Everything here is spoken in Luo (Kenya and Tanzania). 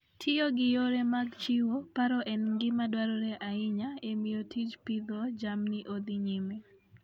Tiyo gi yore mag chiwo paro en gima dwarore ahinya e miyo tij pidho jamni odhi nyime.